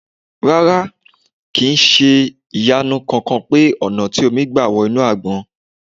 Rárá, kì ń ṣe ìyanu kankan pé ọ̀nà tí omi gbà wọ inú Àgbọn.